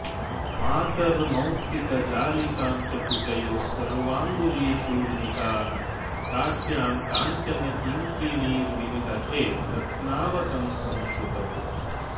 मातर्मौक्तिकजालिकां च कुचयोः सर्वाङ्गुलीषूर्मिकाः काट्यां काञ्चनकिङ्किणीर्विनिदधे रत्नावतंसं श्रुतौ